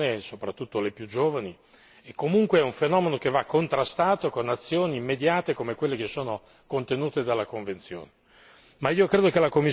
riguarda le donne soprattutto le più giovani e comunque è un fenomeno che va contrastato con azioni immediate come quelle che sono contenute nella convenzione.